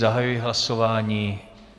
Zahajuji hlasování.